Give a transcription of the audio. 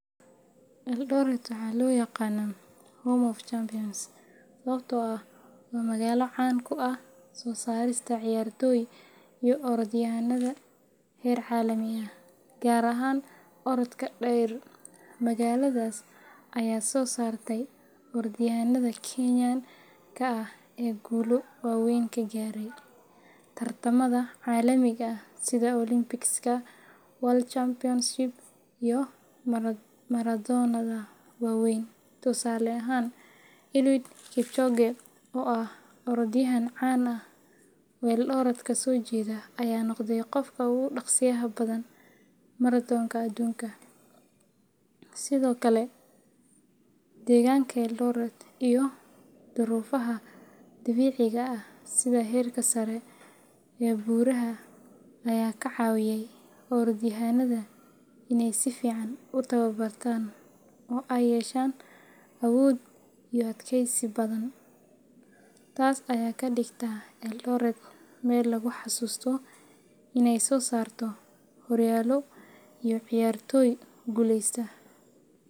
Eldoret waxaa loo yaqaan Home of Champions sababtoo ah waa magaalo caan ku ah soo saarista ciyaartoy iyo orodyahanada heer caalami ah, gaar ahaan orodka dheer. Magaaladaas ayaa soo saartay orodyahanada Kenyanka ah ee guulo waaweyn ka gaaray tartamada caalamiga ah sida Olympicska, World Championships, iyo maratoonnada waaweyn. Tusaale ahaan, Eliud Kipchoge, oo ah orodyahan caan ah oo Eldoret ka soo jeeda, ayaa noqday qofka ugu dhaqsiyaha badan maratoonka adduunka. Sidoo kale, deegaanka Eldoret iyo duruufaha dabiiciga ah sida heerka sare ee buuraha ayaa ka caawiya orodyahanada inay si fiican u tababartaan oo ay yeeshaan awood iyo adkaysi badan. Taas ayaa ka dhigta Eldoret meel lagu xasuusto in ay soo saarto horyaalo iyo ciyaartoy guulaysta.